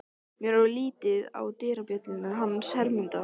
Mér varð litið á dyrabjölluna hans Hermundar.